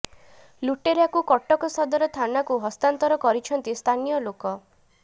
ଲୁଟେରାକୁ କଟକ ସଦର ଥାନାକୁ ହସ୍ତାନ୍ତର କରିଛନ୍ତି ସ୍ଥାନୀୟ ଲୋକ